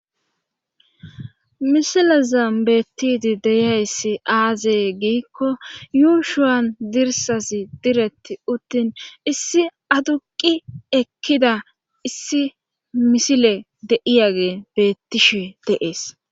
Misilaza beettidi deyayssi aazey giikko yuushuwan dirsasi diretti uttin issi aduqi ekkida issi misile de'iyage beettishe deees.